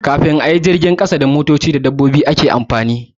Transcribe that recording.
Kafin a yi jirgin ƙasa da motoci, amfani da dabbobi shine babban hanyar tafiya.